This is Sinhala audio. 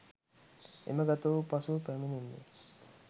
එමගතවූ පසුව පැමිණෙන්නේ